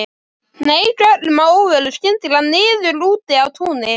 Hneig öllum að óvörum skyndilega niður úti á túni.